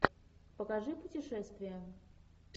покажи путешествия